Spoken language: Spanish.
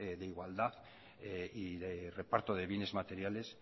de igualdad y de reparto de bienes materiales